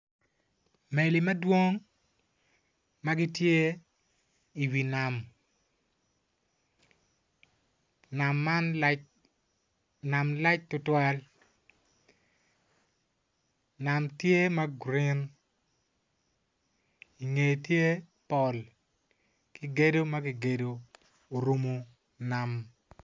Meli ma gidwong ma gitye i wi nam nam man lac. Nam lac tutwal nam tye ma green i ngeye tye pol ki gedo ma kigedo orumo nam.